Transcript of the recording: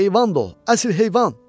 Heyvandır o, əsl heyvan.